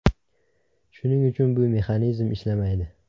Shuning uchun bu mexanizm ishlamaydi.